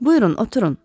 "Buyurun, oturun."